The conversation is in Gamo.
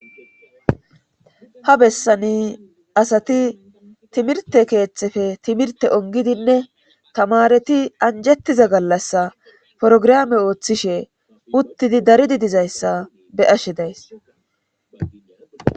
ha besani asati timirtte keettepe timirtte ongidinne tamaareti anjettiza gallassa porograame oothishe uttidi daridi dizayssa be7ashe days.